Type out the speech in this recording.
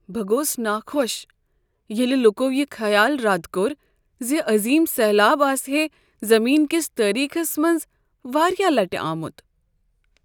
بہٕ گوس ناخوش ییٚلہ لوکو یہ خیال رد کوٚر ز عظیم سیلاب آسہے زمین کس تٲریخس میز واریاہ لٹہ آمت۔